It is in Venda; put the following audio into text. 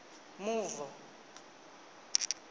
mavu